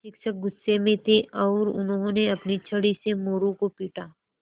शिक्षक गुस्से में थे और उन्होंने अपनी छड़ी से मोरू को पीटा